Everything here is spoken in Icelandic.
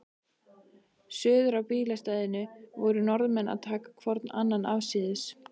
Suður á bílastæðinu voru Norðmenn að taka hvorn annan afsíðis.